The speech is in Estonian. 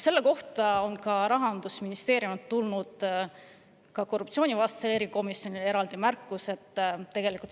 Selle kohta on Rahandusministeeriumist tulnud korruptsioonivastasele erikomisjonile eraldi märkus.